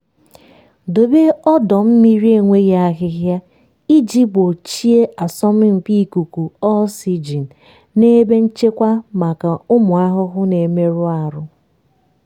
debe ọdọ mmiri enweghị ahịhịa iji gbochie asọmpi ikuku oxygen na ebe nchekwa maka ụmụ ahụhụ na-emerụ ahụ.